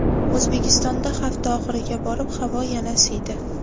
O‘zbekistonda hafta oxiriga borib havo yana isiydi.